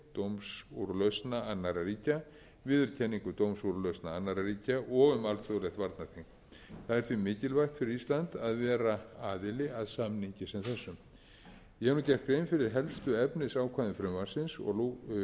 aðfararhæfi dómsúrlausna annarra ríkja viðurkenningar dómsúrlausna annarra ríkja og um alþjóðlegt varnarþing það er því mikilvægt fyrir ísland að vera aðili að samningi sem þessum ég hef nú gert grein fyrir helstu